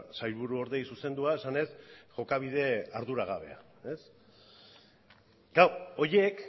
sailburuordeei zuzendua esanez jokabide arduragabea horiek